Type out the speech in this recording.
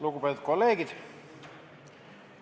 Lugupeetud kolleegid!